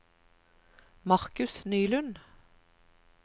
Markus Nylund